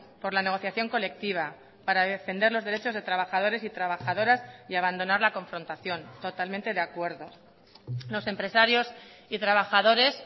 por la negociación colectiva para defender los derechos de trabajadores y trabajadoras y abandonar la confrontación totalmente de acuerdo los empresarios y trabajadores